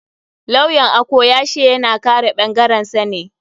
Lawyan ako yashe yana kare ɓangarensa ne.